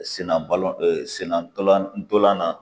Senna balɔntan sennatɔlantɔlan na